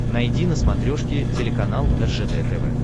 найди на смотрешке телеканал ржд тв